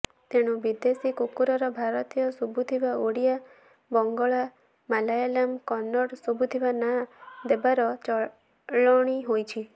ତେଣୁ ବିଦେଶୀ କୁକୁରର ଭାରତୀୟ ଶୁଭୁଥିବା ଓଡ଼ିଆ ବଂଗଳା ମାଲୟାଲମ କନ୍ନଡ଼ ଶୁଭୁଥିବା ନାଁ ଦେବାର ଚଳଣି ହୋଇଛି